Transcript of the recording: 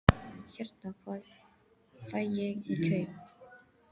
Hérna. hvað fæ ég í kaup?